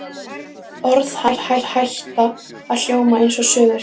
Orð hans hætta að hljóma einsog söngur.